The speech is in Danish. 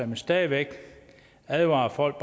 vil stadig væk advare folk